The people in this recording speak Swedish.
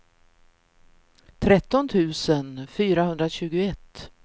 tretton tusen fyrahundratjugoett